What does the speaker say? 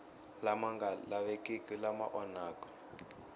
lama nga lavekeki lama onhaka